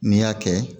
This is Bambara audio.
N'i y'a kɛ